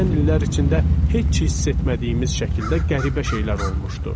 Keçən illər içində heç hiss etmədiyimiz şəkildə qəribə şeylər olmuşdu.